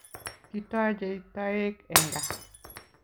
Kitochei toek eng kaa